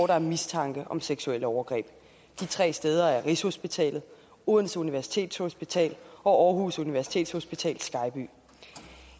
der er mistanke om seksuelle overgreb de tre steder er rigshospitalet odense universitetshospital og aarhus universitetshospital skejby